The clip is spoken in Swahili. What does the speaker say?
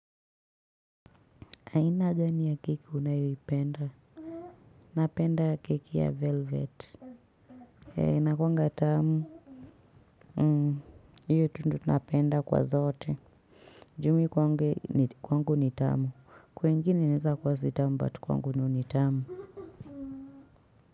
Aina gani ya keki unayoi penda? Napenda keki ya velvet. Hee, ina kuwanga tamu. Hmm, hiyo tu ndo napenda kwa zote. Ju mii kwangu ni tamu. Kwa wengine inaeza kuwa sitamu, but kwangu ni unitamu.